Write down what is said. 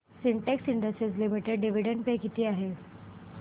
Sintex industries limited dividend pay किती आहे